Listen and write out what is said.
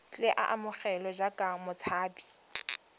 tle a amogelwe jaaka motshabi